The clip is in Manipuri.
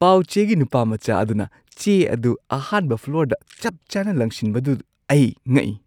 ꯄꯥꯎ-ꯆꯦꯒꯤ ꯅꯨꯄꯥꯃꯆꯥ ꯑꯗꯨꯅ ꯆꯦ ꯑꯗꯨ ꯑꯍꯥꯟꯕ ꯐ꯭ꯂꯣꯔꯗ ꯆꯞꯆꯥꯅ ꯂꯪꯁꯤꯟꯕꯗꯨ ꯑꯩ ꯉꯛꯏ꯫